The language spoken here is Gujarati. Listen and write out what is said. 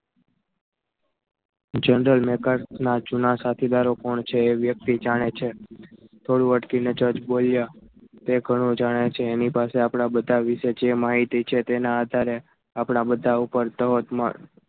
general maker ના જુના સાથીદારો કોણ છે એ વ્યક્તિ જાણે છે થોડું અટકીને જજ બોલ્યા તે ઘણું જાણે છે એની પાસે આપણા બધા વિશે જે માહિતી છે તેના આધારે આપણા બધા ઉપર ધોધમાર